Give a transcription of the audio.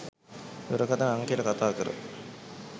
දුරකතන අංකයට කතාකර